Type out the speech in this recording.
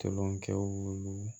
Toloncɛw